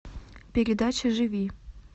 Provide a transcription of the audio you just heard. передача живи